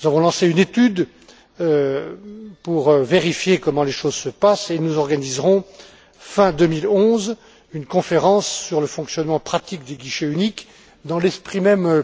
nous avons lancé une étude pour vérifier comment les choses se passent et nous organiserons, fin 2011, une conférence sur le fonctionnement pratique des guichets uniques, dans l'esprit même